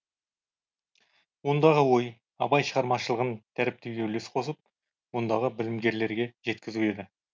ондағы ой абай шығармашылығын дәріптеуге үлес қосып мұндағы білімгерлерге жеткізу еді